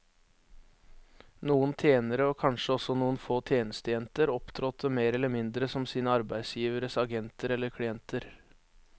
Noen tjenere, og kanskje også noen få tjenestejenter, opptrådte mer eller mindre som sine arbeidsgiveres agenter eller klienter.